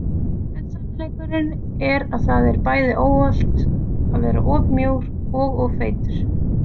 En sannleikurinn er að það er bæði óhollt að vera of mjór og of feitur.